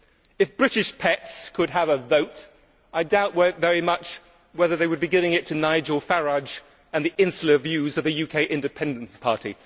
If British pets could have a vote, I doubt very much whether they would be giving it to Nigel Farage and the insular views of the UK Independence Party.